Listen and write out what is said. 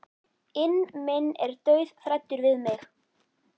inn minn er dauðhræddur við mig.